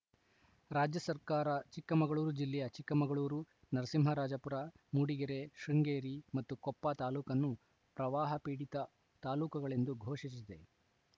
ರಾಜ್ಯಸರ್ಕಾರ ಚಿಕ್ಕಮಗಳೂರು ಜಿಲ್ಲೆಯ ಚಿಕ್ಕಮಗಳೂರು ನರಸಿಂಹರಾಜಪುರ ಮೂಡಿಗೆರೆ ಶೃಂಗೇರಿ ಮತ್ತು ಕೊಪ್ಪ ತಾಲೂಕನ್ನು ಪ್ರವಾಹ ಪೀಡಿತ ತಾಲೂಕುಗಳೆಂದು ಘೋಷಿಸಿದೆ